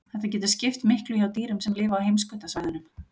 Þetta getur skipt miklu hjá dýrum sem lifa á heimskautasvæðunum.